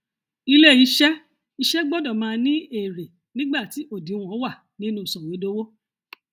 ilé iṣẹ iṣẹ gbọdọ máa ní èrè nígbà tí òdìwọn wà nínú sọwédowó